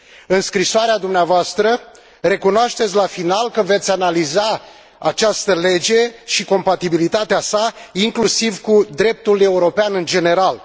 În scrisoarea dumneavoastră recunoașteți la final că veți analiza această lege și compatibilitatea sa, inclusiv cu dreptul european în general.